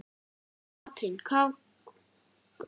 Katrín: Hvað valdirðu þér?